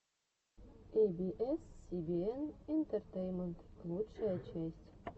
эй би эс си би эн энтетейнмент лучшая часть